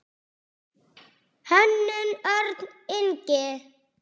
Hönnun: Örn Ingi.